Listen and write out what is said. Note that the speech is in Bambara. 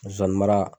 Zonzani mara